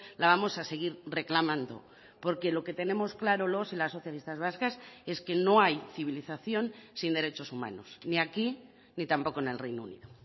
la vamos a seguir reclamando porque lo que tenemos claro los y las socialistas vascas es que no hay civilización sin derechos humanos ni aquí ni tampoco en el reino unido